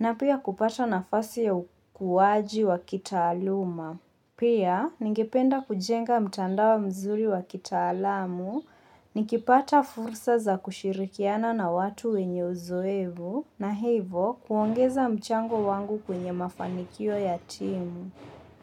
na pia kupata nafasi ya ukuwaji wa kitaaluma. Pia, ningependa kujenga mtandao mzuri wa kitaalamu, nikipata fursa za kushirikiana na watu wenye uzoevu, na hivo huongeza mchango wangu kwenye mafanikio ya timu.